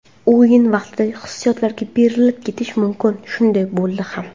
O‘yin vaqtida hissiyotlarga berilib ketish mumkin, shunday bo‘ldi ham.